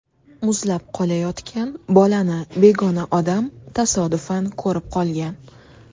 Muzlab qolayotgan bolani begona odam tasodifan ko‘rib qolgan.